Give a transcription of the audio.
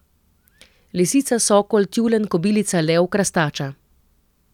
Lisica, sokol, tjulenj, kobilica, lev, krastača.